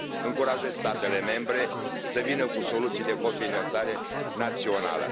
Încurajez statele membre să vină cu soluții de cofinanțare națională.